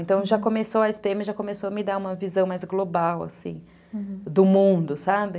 Então, já começou a esse pê eme, já começou a me dar uma visão mais global, assim, uhum, do mundo, sabe?